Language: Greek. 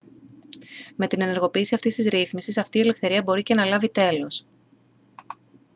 με την ενεργοποίηση αυτής της ρύθμισης αυτή η ελευθερία μπορεί και να λάβει τέλος